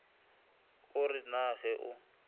o re na ge o